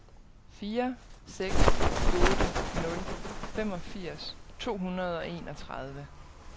fire seks otte nul femogfirs to hundrede og enogtredive